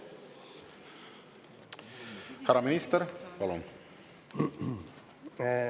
Härra minister, palun!